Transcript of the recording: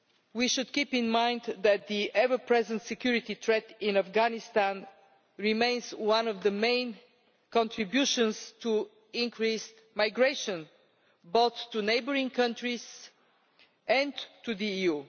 We should keep in mind that the ever-present security threat in Afghanistan remains one of the main contributors to increased migration, both to neighbouring countries and to the